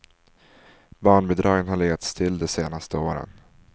Barnbidragen har legat still de senaste åren.